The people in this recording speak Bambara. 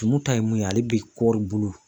Tumu ta ye mun ye ale bi kɔɔri bulu dun.